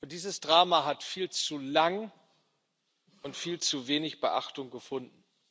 Dieses Drama hat viel zu lange viel zu wenig Beachtung gefunden.